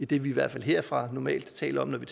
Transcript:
det vi i hvert fald herfra normalt taler om når vi